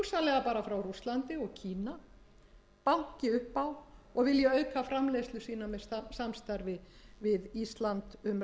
kína banki upp á og vilji auka framleiðslu sína með samstarfi við ísland með